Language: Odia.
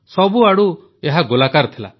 ସବୁଆଡ଼ୁ ଏହା ଗୋଲାକାର ଥିଲା